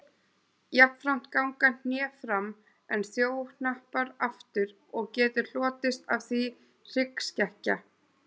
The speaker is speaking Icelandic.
Jafnframt ganga hné fram en þjóhnappar aftur og getur hlotist af því hryggskekkja.